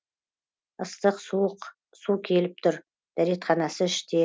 ыстық суық су келіп тұр дәретханасы іште